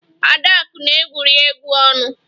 Adaka na-egwuri egwu ọnụ